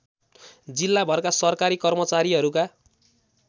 जिल्लाभरका सरकारी कर्मचारीहरूका